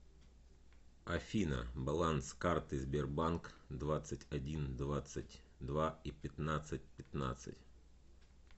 афина баланс карты сбербанк двадцать один двадцать два и пятнадцать пятнадцать